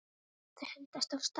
Þau hendast af stað.